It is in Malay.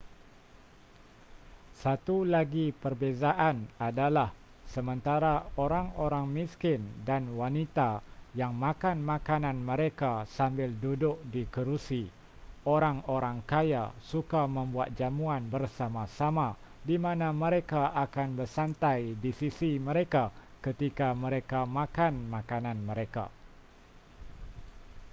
satu lagi perbezaan adalah sementara orang-orang miskin dan wanita yang makan makanan mereka sambil duduk di kerusi orang-orang kaya suka membuat jamuan bersama-sama di mana mereka akan bersantai di sisi mereka ketika mereka makan makanan mereka